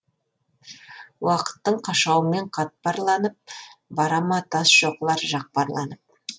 уақыттың қашауымен қатпарланып бара ма тас шоқылар жақпарланып